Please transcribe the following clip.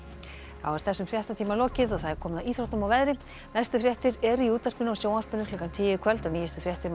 þá er þessum fréttatíma lokið og komið að íþróttum og veðri næstu fréttir eru í útvarpi og sjónvarpi klukkan tíu í kvöld og nýjustu fréttir má